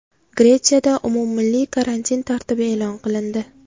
Gretsiyada umummilliy karantin tartibi e’lon qilindi.